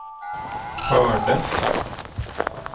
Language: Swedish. hördes